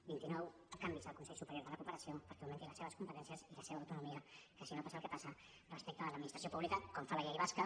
vint i nou canvis en el consell superior de la cooperació perquè augmenti les seves competències i la seva autonomia que si no passa el que passa respecte de l’administració pública com fa la llei basca